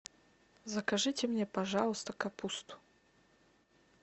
закажите мне пожалуйста капусту